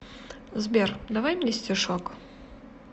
сбер давай мне стишок